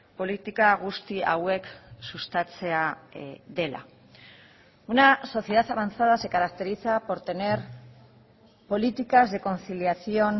politika guzti hauek sustatzea dela una sociedad avanzada se caracteriza por tener políticas de conciliación